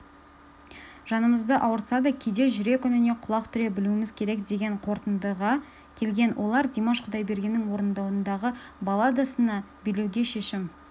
жанымызды ауыртса да кейде жүрек үніне құлақ түре білуіміз керек деген қорытындыға келген олар димаш құдайбергеннің орындауындағы балладасына билеуге шешім